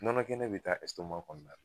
Nɔnɔ kɛnɛ bɛ taa kɔnɔna la